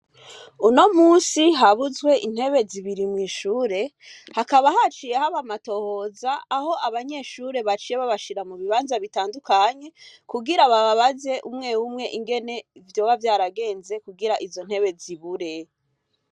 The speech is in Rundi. Uno munsi habuzwe intebe zibiri mw'ishure, hakaba haciye haba amatohoza aho abanyeshure baciye babashira mu bibanza bitandukanye, kugira babaze umwe umwe ungene vyoba vyaragenze kugira izo ntebe zibure.